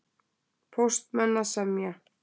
Póstmenn að semja